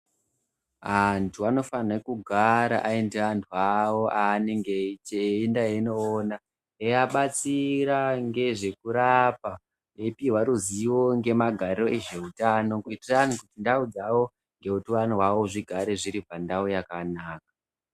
Antu anofanire kugara aite antu awo aanenge einda eindoona eiabatsira ngezvekurapa eipiwa ruzivo ngemagariro ezveutano kuitire kuti ndau dzawo neantu awo zvigare zviri pandau yakanaka.